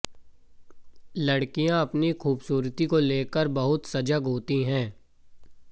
लड़कियां अपनी खूबसूरती को लेकर बहुत सजग होती है